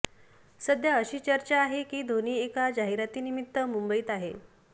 सध्या अशी चर्चा आहे की धोनी एका जाहिरातीनिमित्त मुंबईत आहे